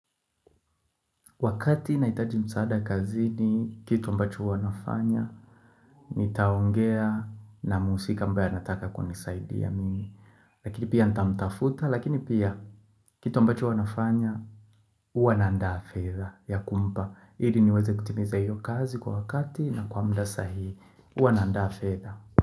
Wakati nahitaji msaada kazi ni kitu ambacho huwanafanya nitaongea na muhusika ambaye anataka kunisaidia mimi Lakini pia nitamtafuta lakini pia kitu ambacho huwanafanya huwa naandaa fedha ya kumpa ili niweze kutimiza hiyo kazi kwa wakati na kwa mda sahii huwa naandaa fedha.